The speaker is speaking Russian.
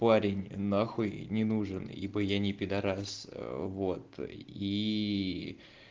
парень нахуй не нужен ибо я не пидарас вот и